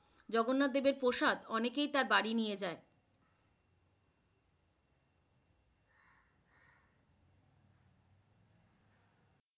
জগন্নাথ দেবের প্রসাদ অনেকে তার বাড়ি নিয়ে যায়।